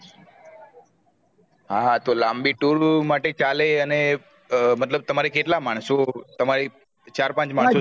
હા હા તો લાંબી tour માટે ચાલે ને અને મતલબ તમારે કેટલા માનશો સમય ચાર પાંચ